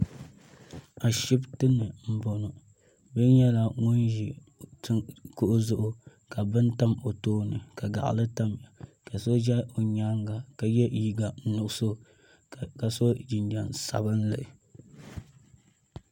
a shɛbitɛni n bɔŋɔ bia nyɛla ŋɔ ʒɛ kugu zʋɣ' ka bɛn tam o tuuni ka gaɣili tam ka so ʒɛ o nyɛŋa ka yɛ liga nuɣisu ka so jinjam sabinli